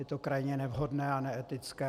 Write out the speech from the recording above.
Je to krajně nevhodné a neetické.